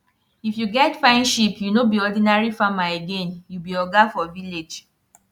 if you get fine sheep you no be ordinary farmer again you be oga for village